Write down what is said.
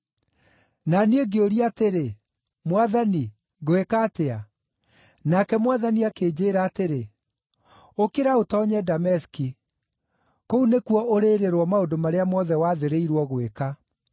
“Na niĩ ngĩũria atĩrĩ, ‘Mwathani ngwĩka atĩa?’ “Nake Mwathani akĩnjĩĩra atĩrĩ, ‘Ũkĩra ũtoonye Dameski. Kũu nĩkuo ũrĩĩrĩrwo maũndũ marĩa mothe wathĩrĩirwo gwĩka.’